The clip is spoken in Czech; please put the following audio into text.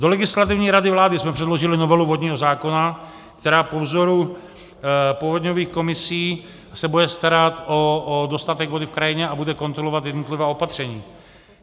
Do Legislativní rady vlády jsme předložili novelu vodního zákona, která po vzoru povodňových komisí se bude starat o dostatek vody v krajině a bude kontrolovat jednotlivá opatření.